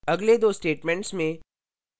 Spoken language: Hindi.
अगले दो statements में